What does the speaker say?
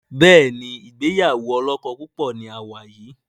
Béèni ìgbéyàwó olókó púpò ní a wá yí.